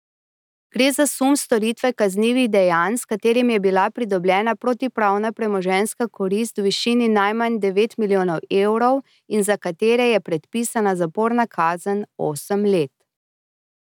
Gre za sum storitve kaznivih dejanj, s katerimi je bila pridobljena protipravna premoženjska korist v višini najmanj devet milijonov evrov in za katere je predpisana zaporna kazen osem let.